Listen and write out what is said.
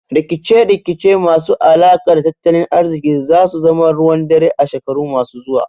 Rikice rikice masu alaka da tattalin ariziki zasu zamo ruwan dare a shekaru masu zuwa